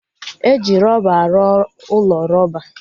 Eji rọba arụ ụlọ roba